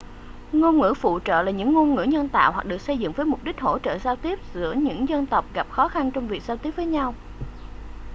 ngôn ngữ phụ trợ là những ngôn ngữ nhân tạo hoặc được xây dựng với mục đích hỗ trợ giao tiếp giữa những dân tộc gặp khó khăn trong việc giao tiếp với nhau